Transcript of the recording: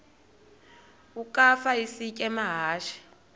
ukafa isitya amahashe